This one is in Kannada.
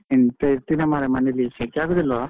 ಎಂತ ಇರ್ತೀರಾ ಮರ್ರೆ ಮನೆಯಲ್ಲಿ, ಶೆಕೆ ಆಗುದಿಲ್ವಾ?